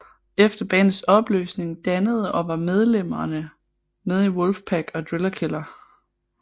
Efter bandets opløsning dannede og var medlemmer med i Wolfpack og Driller Killer